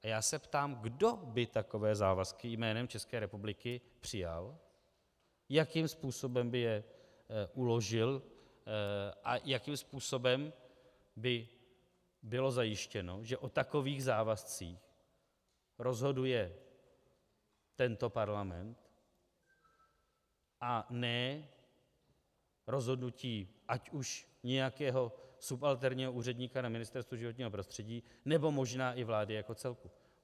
A já se ptám, kdo by takové závazky jménem České republiky přijal, jakým způsobem by je uložil a jakým způsobem by bylo zajištěno, že o takových závazcích rozhoduje tento parlament, a ne rozhodnutí ať už nějakého subalterního úředníka na Ministerstvu životního prostředí, nebo možná i vlády jako celku.